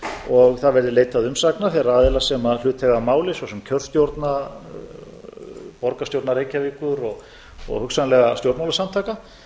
og það verði leitað umsagna þeirra aðila sem hlut eiga að máli svo sem kjörstjórna borgarstjórnar reykjavíkur og hugsanlega stjórnmálasamtaka